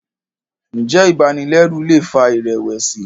njé ibanilẹru lè fà irẹwẹsi?